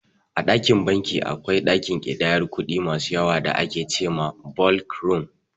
A banki akwai ɗakin ƙidayar kuɗi masu yawa da ake ce ma "Ɓolk Rum"